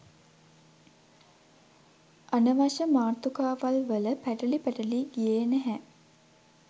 අනවශ්‍ය මාතෘකාවල්වල පැටලි පැටලි ගියේ නැහැ